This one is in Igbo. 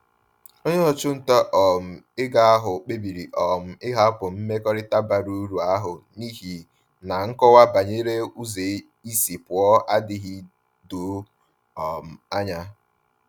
Onye ọchụnta um ego ahụ kpebiri um ịhapụ mmekọrịta bara uru ahụ n’ihi na nkọwa banyere ụzọ isi pụọ adịghị doo um anya.